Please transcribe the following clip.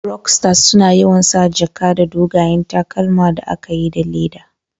Rokstas suna yawan sa jaka da dogayen takalma da aka yi da le'da.